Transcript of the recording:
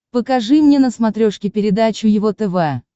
покажи мне на смотрешке передачу его тв